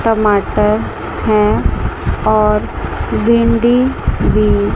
टमाटर है और भिंडी भी--